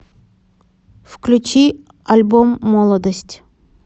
включи альбом молодость